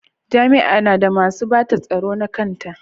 Jami'a na da masu bata tsaro nata na kanta.